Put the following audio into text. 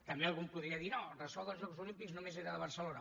també algú em podria dir no el ressò dels jocs olímpics només era de barcelona